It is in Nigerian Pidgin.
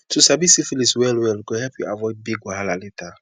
to sabi syphilis well well go help you avoid big wahala later